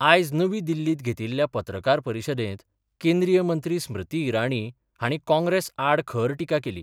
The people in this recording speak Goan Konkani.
आयज नवी दिल्लीत घेतील्ल्या पत्रकार परीषदेत केंद्रीय मंत्री स्मृती ईराणी हांणी काँग्रेस आड खर टीका केली.